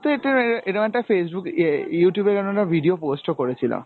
এরকম একটা Facebook এ Youtube এ এরকম একটা video post ও করেছিলাম।